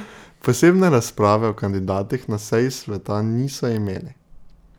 Posebne razprave o kandidatih na seji sveta niso imeli.